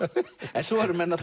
en svo eru menn